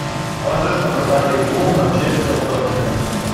можешь показать игру манчестер тоттенхэм